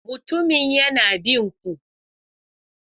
Mutumin yana bin ku.